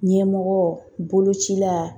Ɲɛmɔgɔ bolocila